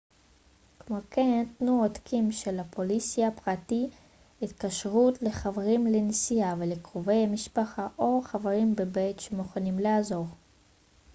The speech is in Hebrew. כמו כן תנו עותקים של הפוליסה/פרטי התקשרות לחברים לנסיעה ולקרובי משפחה או חברים בבית שמוכנים לעזור